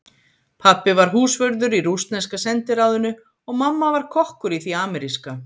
Pabbi var húsvörður í rússneska sendiráðinu og mamma var kokkur í því ameríska.